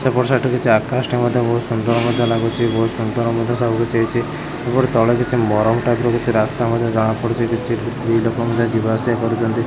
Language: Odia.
ସେପଟ ସାଇଟ୍ ରେ କିଛି ଆକାଶଟେ ମଧ୍ୟ ବହୁତ ସୁନ୍ଦର ମଧ୍ୟ ଲାଗୁଛି ବହୁତ୍ ସୁନ୍ଦର ମଧ୍ୟ ସବୁ କିଛି ହେଇଛି ଏପଟେ ତଳେ କିଛି ମରମ ଟାଇପ୍ ର କିଛି ରାସ୍ତା ମଧ୍ୟ ଜଣାପଡୁଛି କିଛି ସ୍ତ୍ରୀ ଲୋକ ମଧ୍ୟ ଯିବା ଆସିବା କରୁଛନ୍ତି।